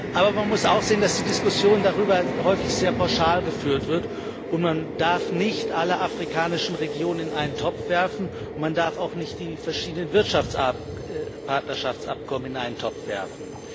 Aber man muss auch sehen, dass die Diskussion darüber häufig sehr pauschal geführt wird, und man darf nicht alle afrikanischen Regionen in einen Topf werfen. Man darf auch nicht die verschiedenen Wirtschaftspartnerschaftsabkommen in einen Topf werfen.